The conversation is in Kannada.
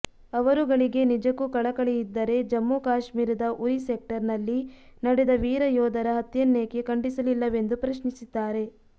ಅವರುಗಳಿಗೆ ನಿಜಕ್ಕೂ ಕಳಕಳಿಯಿದ್ದರೆ ಜಮ್ಮು ಕಾಶ್ಮೀರದ ಉರಿ ಸೆಕ್ಟರ್ ನಲ್ಲಿ ನಡೆದ ವೀರ ಯೋಧರ ಹತ್ಯೆಯನ್ನೇಕೆ ಖಂಡಿಸಲಿಲ್ಲವೆಂದು ಪ್ರಶ್ನಿಸಿದ್ದಾರೆ